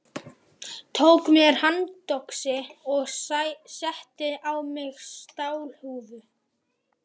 Tók mér handöxi og setti á mig stálhúfu.